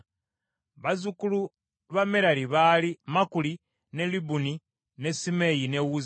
Bazzukulu ba Merali baali Makuli, ne Libuni, ne Simeeyi, ne Uzza,